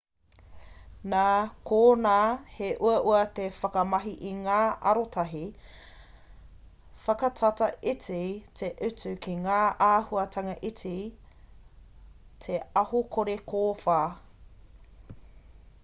nā konā he uaua te whakamahi i ngā arotahi whakatata iti te utu ki ngā āhuahanga iti te aho kore kōwhā